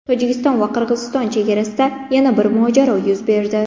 Tojikiston va Qirg‘iziston chegarasida yana bir mojaro yuz berdi.